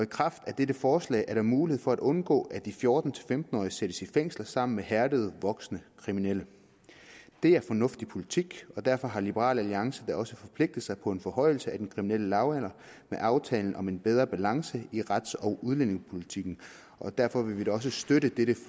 kraft af dette forslag er der mulighed for at undgå at de fjorten til femten årige sættes i fængsel sammen med hærdede voksne kriminelle det er fornuftig politik og derfor har liberal alliance da også forpligtet sig på en forhøjelse af den kriminelle lavalder med aftalen om en bedre balance i rets og udlændingepolitikken og derfor vil vi også støtte dette